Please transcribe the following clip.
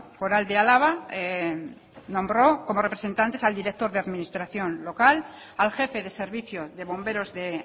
foral de álava nombró como representante al director de administración local al jefe de servicio de bomberos de